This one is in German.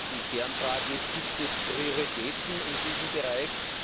Die Kernfrage ist Gibt es Prioritäten in diesem Bereich?